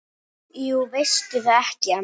Jú veistu það ekki, amma?